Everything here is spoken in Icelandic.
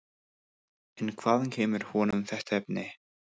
En hvaðan kemur honum þetta efni?